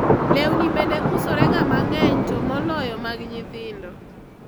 lewni bende usorega mang'eny to moloyo mag nyithindo